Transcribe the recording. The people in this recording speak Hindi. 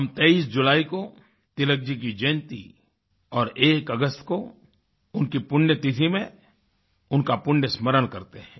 हम 23 जुलाई को तिलक जी की जयंती और 01 अगस्त को उनकी पुण्यतिथि में उनका पुण्य स्मरण करते हैं